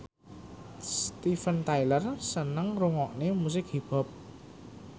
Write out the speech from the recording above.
Steven Tyler seneng ngrungokne musik hip hop